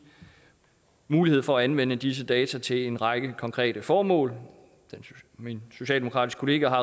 mulighed for at anvende disse data til en række konkrete formål og min socialdemokratiske kollega har